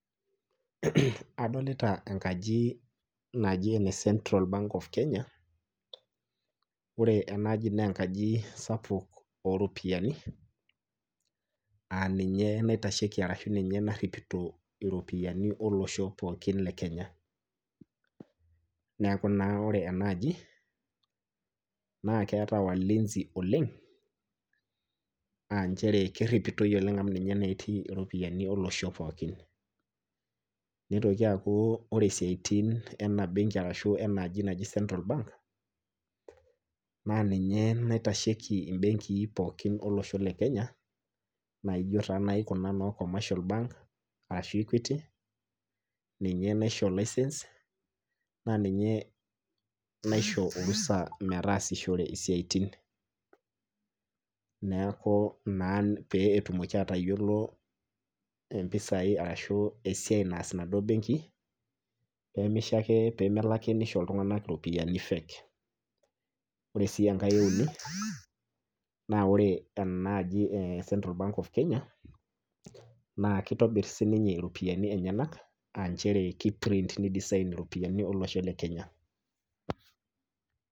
Adolita enkaji naji ene central bank of kenya ore enkaaji naa enkaji sapuk ooropiyiani ,aa ninye naitasheki ashu naripito ropiyiani pookin olosho lekenya .neeku ore enkaaji naa keeta walinzi oleng naa keripitopi amu ninye etii ropiyiani olosho pookin. nitoki aaku ore siatin enaaji naji central bank, naa ninye naitasheki mbekii pookin olosho lekenya naijo taa naji kuna noo commercial bank asho no equity ninye naisho lisence naa ninye naisho metaasishore siatin ,pee etumoki naa atayiolo mpisai ashu esiai naas naduo bekin pee melo ake neisho iltunganak ropiyiani fake. ore sii enkae euni naa ore enkaaji e central bank of kenya naa kitobir siininye ropiyiani enyanak aa nchere keiprint ni d esign ropiyiani olosho lekenya,